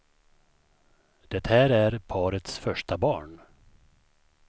Det här är parets första barn.